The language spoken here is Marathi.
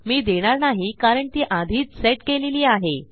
मी देणार नाही कारण ती आधीच सेट केलेली आहे